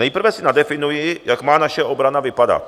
Nejprve si nadefinuji, jak má naše obrana vypadat.